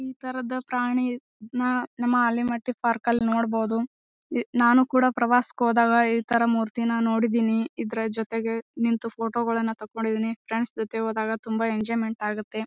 ಈ ತರಹದ ಪ್ರಾಣಿ ನ ನಮ್ಮ ಅಳ್ಳಿಮಠದ್ ಪಾರ್ಕ್ ಅಲ್ಲಿ ನೋಡಬಹುದು ಎ ನಾನು ಕೂಡ ಪ್ರವಾಸಕ್ಕೆ ಹೋದಾಗ ಈ ತರ ಮೂರ್ತಿನ ನೋಡಿದೀನಿ ಇದ್ರ ಜೊತೆಗೆ ನಿಂತು ಫೋಟೋ ಗಳ್ಳನ್ನು ತೆಕೊಂಡಿದೀನಿ ಫ್ರೆಂಡ್ಸ್ ಜೊತೆ ಹೋದಾಗ ತುಂಬ ಎಂಜೋಯ್ಮೆಂಟ್ ಆಗುತ್ತೆ.